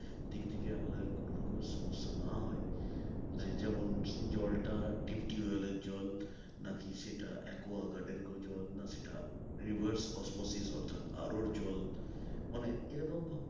দিক থেকে আমাদের কোনো রকম সমস্যা না হয় যেমন জল টা deep tubewell এর জল নাকি সেটা aqua guard এর জল না সেটা reverse osmosis অর্থাৎ জল মানে এরকম ভাবে